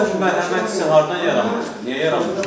Bəs səndə bu mərhəmətsizliyi hardan yaranmışdı, niyə yaranmışdı?